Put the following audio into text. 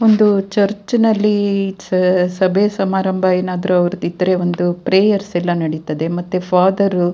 ಒಂದು ಚರ್ಚ್ನಲ್ಲಿ ಸಭೆ ಸಮಾರಂಭ ಏನಾದ್ರು ಅವ್ರದ್ದು ಇದ್ರೆ ಒಂದು ಪ್ರಾಯೆರ್ಸ್ ಎಲ್ಲ ನಡೀತದೆ ಮತ್ತೆ ಫಾದರ್ --